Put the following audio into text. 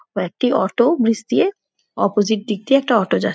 ও একটি auto bridge দিয়ে opposite দিক দিয়ে একটা অটো যাচ্ছে।